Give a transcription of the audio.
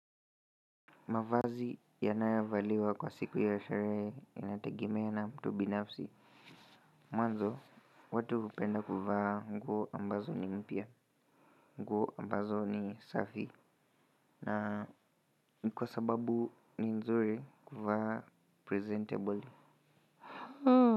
Mavazi yanayovaliwa kwa siku ya sherehe yanategemea na mtu binafsi mwanzo watu hupenda kuvaa nguo ambazo ni mpya nguo ambazo ni safi na kwa sababu ni nzuri kuvaa presentable.